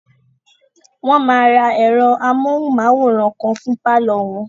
Wọ́n máa ra ẹ̀rọ amóhùnmáwòrán kan fún pálọ̀ wọn